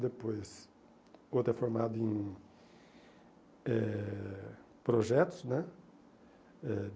Depois, o outro é formado em eh projetos, né? Eh